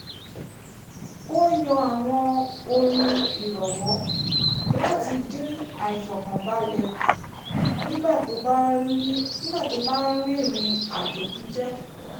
ó yan àwọn orin ìrọ̀wọ́ láti dín àìfọkànbalẹ̀ kù nígbà tó bá ń rìrìn àjò pípẹ́